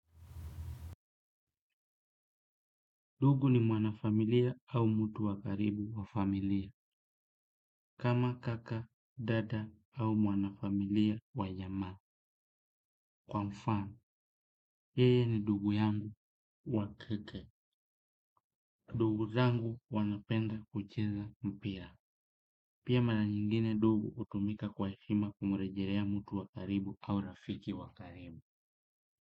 Ndugu ni mwanafamilia au mtu wa karibu wa familia. Kama kaka, dada au mwanafamilia wa jamaa. Kwa mfano, yeye ni ndugu yangu wa kike. Ndugu zangu wanapenda kucheza mpira. Pia mara nyingine ndugu hutumika kwa heshima kumrejelea mtu wa karibu au rafiki wa karibu.